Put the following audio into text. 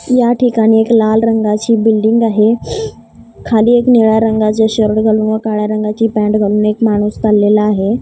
या ठिकाणी एक लाल रंगाची बिल्डींग आहे खाली एक निळ्या रंगाचा शर्ट घालून व काळ्या रंगाची पॅन्ट घालून एक माणूस चाललेला आहे.